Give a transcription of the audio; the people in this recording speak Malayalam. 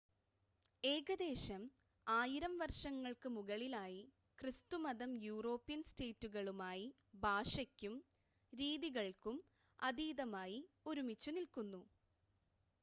ഏകദേശം ആയിരം വർഷങ്ങൾക്ക് മുകളിലായി ക്രിസ്തുമതം യൂറോപ്യൻ സ്റ്റേറ്റുകളുമായി ഭാഷക്കും രീതികൾക്കും അതീതമായി ഒരുമിച്ചുനിൽക്കുന്നു